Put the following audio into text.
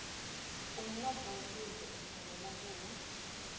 umnotfo wesive utsembele kuwe